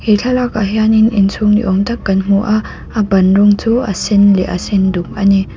he thlalakah hianin inchhung ni awm tak kan hmu a a ban rawng chu a sen leh a senduk a ni.